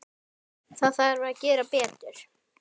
Það þarf að gera betur.